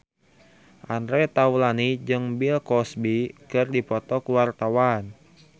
Andre Taulany jeung Bill Cosby keur dipoto ku wartawan